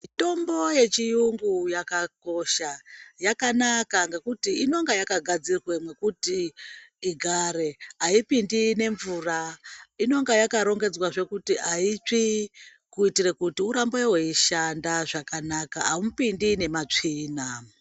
Mitombo yechiyungu yakakosha yakanaka ngekuti inonga yakagadzirwa mwekuti igare haipindi nemvura inonga yakarongedzwa zvskuti aitsvi kuti urambe weishanda zvakanaka aumbiti mumatsvina.